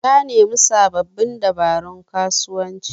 Ta nemi sababbin dabarun kasuwanci